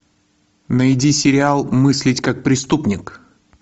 найди сериал мыслить как преступник